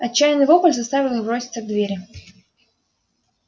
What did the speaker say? отчаянный вопль заставил их броситься к двери